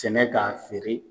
Sɛnɛ k'a feere